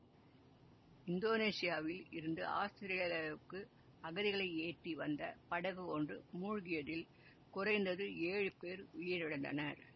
இந்தோனேசியாவில் இருந்து ஆஸ்திரேலியாவுக்கு அகதிகளை ஏற்றி வந்த படகு ஒன்று மூழ்கியதில் குறைந்தது ஏழு பேர் உயிரிழந்தனர்